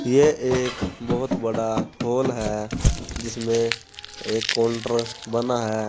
ये एक बहोत बड़ा हॉल है जिसमें एक काउंटर बना है।